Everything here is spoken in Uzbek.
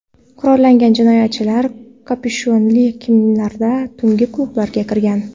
Qurollangan jinoyatchilar kapyushonli kiyimlarda tungi klubga kirgan.